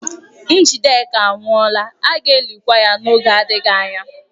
Njideka anwụọla, a ga-elikwa ya n'oge adịghị anya.